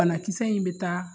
Banakisɛ in bɛ taa